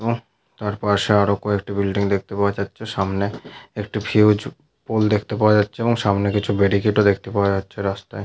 এবং তার পাশে আরো কয়েকটি বিল্ডিং দেখতে পাওয়া যাচ্ছেসামনে একটি ফিউজ পোল দেখতে পাওয়া যাচ্ছে এবং সামনে কিছু বেড়িক্যাড ও দেখতে পাওয়া যাচ্ছে রাস্তায়।